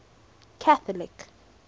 catholic